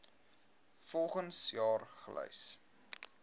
volgens jaar gelys